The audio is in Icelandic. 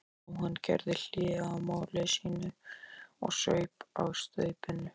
Jóhann gerði hlé á máli sínu og saup á staupinu.